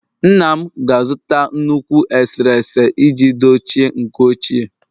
Nna m ga-azụta nnukwu eserese iji dochie nke ochie